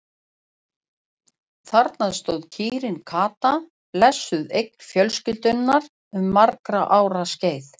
Þarna stóð kýrin Kata, blessuð eign fjölskyldunnar um margra ára skeið.